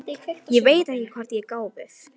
Ég veit ekki hvort ég er gáfuð.